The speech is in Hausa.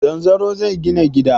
Zanzaro zai gina gida.